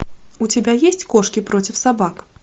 у тебя есть кошки против собак